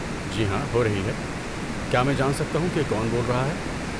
جی ہاں، ہو رہی ہے۔ کیا میں جان سکتا ہوں کہ کون بول رہا ہے؟